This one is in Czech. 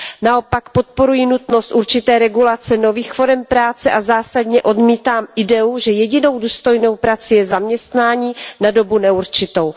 Naopak podporuji nutnost určité regulace nových forem práce a zásadně odmítám ideu, že jedinou důstojnou prací je zaměstnání na dobu neurčitou.